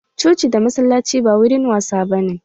Coci da masallaci ba wurin wasa ba ne.